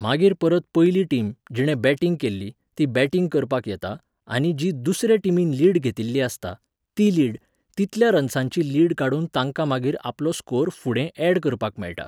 मागीर परत पयली टीम, जिणे बॅटिंग केल्ली, ती बॅटिंग करपाक येता, आनी जी दुसरे टिमीन लीड घेतिल्ली आसता, ती लीड, तितल्या रन्सांची लीड काडून तांकां मागीर आपलो स्कोर फुडें ऍड करपाक मेळटा